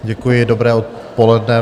Děkuji, dobré odpoledne.